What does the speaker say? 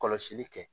Kɔlɔsili kɛ